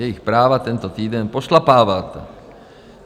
Jejich práva tento týden pošlapáváte.